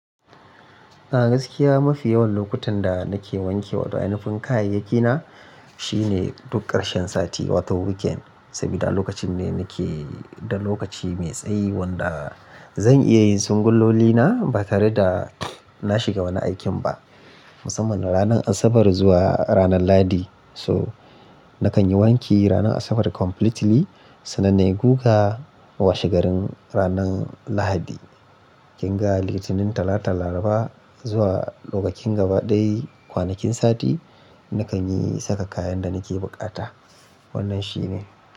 A gaskiya mafi yawan lokutan da nake wanke wata ainifin kayayyaki na shine duk ƙarshen sati wato weekend. Saboda lokacin ne nake da lokaci mai tsayi wanda zan iya yin singuloli na ba tare da na shiga wani aikin ba. Musamman ranar Asabar zuwa ranar Lahadi so nakan yi wanki ranar Asabar completely sannan na yi guga washe garin ranar Lahadi. Kin ga Litinin, Talata, Laraba zuwa lokacin gaba ɗaya kwanakin sati nakan yi saka kayan da nake buƙata. Wannan shi ne.